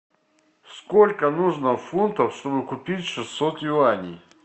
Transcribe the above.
сколько нужно фунтов чтобы купить шестьсот юаней